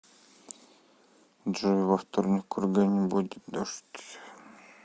джой во вторник в кургане будет дождь